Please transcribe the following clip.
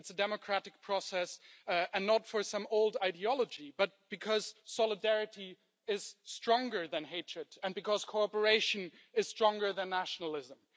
It's a democratic process, and not for some old ideology but because solidarity is stronger than hatred and because cooperation is stronger than nationalism.